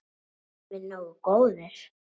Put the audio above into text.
Erum við nógu góðir?